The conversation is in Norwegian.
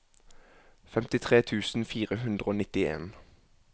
femtitre tusen fire hundre og nittien